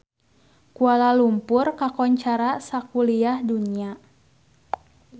Kuala Lumpur kakoncara sakuliah dunya